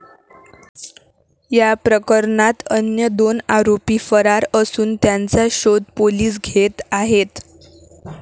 या प्रकरणात अन्य दोन आरोपी फरार असून त्यांचा शोध पोलीस घेत आहेत.